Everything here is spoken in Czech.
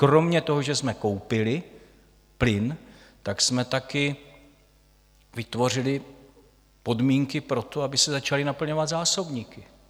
Kromě toho, že jsme koupili plyn, tak jsme taky vytvořili podmínky pro to, aby se začaly naplňovat zásobníky.